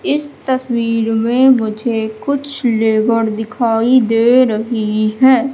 इस तस्वीर में मुझे कुछ लेबर दिखाई दे रही है।